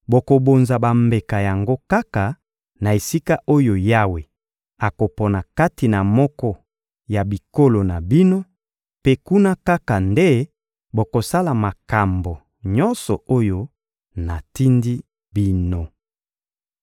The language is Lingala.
Bokobonza bambeka yango kaka na esika oyo Yawe akopona kati na moko ya bikolo na bino, mpe kuna kaka nde bokosala makambo nyonso oyo natindi bino.